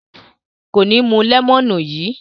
Kò ní mú lẹ́mọ́nù yìí.